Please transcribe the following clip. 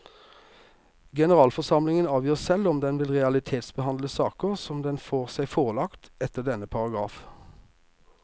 Generalforsamlingen avgjør selv om den vil realitetsbehandle saker som den får seg forelagt etter denne paragraf.